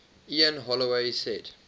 ian holloway said